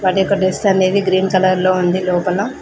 యొక్క డ్రెస్సు అనేది green colour లో ఉంది లోపల.